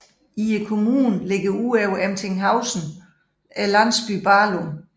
I kommunen ligger ud over Emtinghausen landsbyen Bahlum